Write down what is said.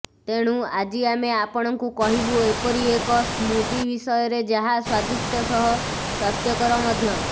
ତେଣୁ ଆଜି ଆମେ ଆପଣଙ୍କୁ କହିବୁ ଏପରି ଏକ ସ୍ମୁଦି ବିଷୟରେ ଯାହା ସ୍ୱାଦିଷ୍ଟ ସହ ସ୍ୱାସ୍ଥ୍ୟକର ମଧ୍ୟ